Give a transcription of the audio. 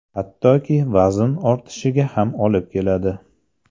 Hattoki vazn ortishiga ham olib keladi.